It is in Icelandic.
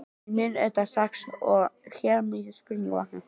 En ég sá auðvitað strax, að hér mundu spurningar vakna.